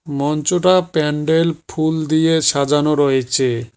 মঞ্চটা প্যান্ডেল ফুল দিয়ে সাজানো রয়েচে।